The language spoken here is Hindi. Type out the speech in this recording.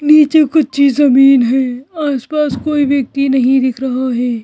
नीचे कच्ची जमीन है आस पास कोई व्यक्ति नहीं दिख रहा है।